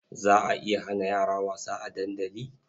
Za a iya hana yara wasa a dandali?